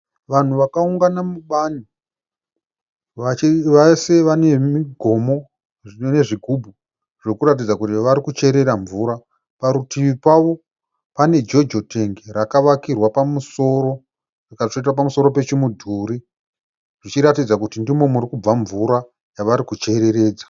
Vanhu vakaungana mubani vese vane migomo zvinove zvigubu zvekuratidza kuti varikucherera mvura parutivi pavo pane Jojo tengi rakavakirwa pamusoro rikatsveta pamusoro pechi mudhuri zvichiratidza kuti ndimo murikubva mvura yavari kuchereredza.